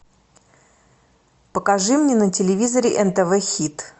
покажи мне на телевизоре нтв хит